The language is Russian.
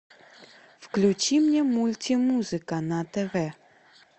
включи мне мульти музыка на тв